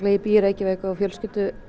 ég bý í Reykjavík og á fjölskyldu